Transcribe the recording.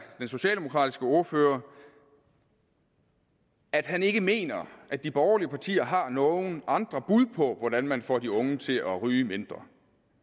socialdemokratiske ordfører at han ikke mener at de borgerlige partier har nogen andre bud på hvordan man får de unge til at ryge mindre